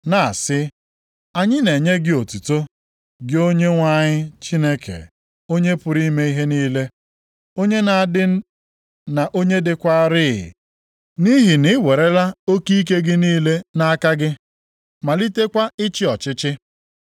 na-asị, “Anyị na-enye gị otuto, gị Onyenwe anyị Chineke, Onye pụrụ ime ihe niile. Onye na-adị, na onye dịkwaarị, nʼihi na i werela oke ike gị niile nʼaka gị malitekwa ịchị ọchịchị.